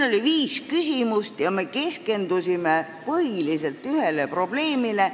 Oli viis küsimust ja me keskendusime põhiliselt ühele probleemile.